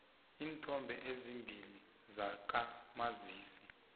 iinthombe ezimbili zakamazisi